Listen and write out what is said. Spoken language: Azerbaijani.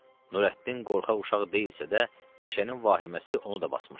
Nurəddin qorxaq uşaq deyilsə də, meşənin vahiməsi onu da basmışdı.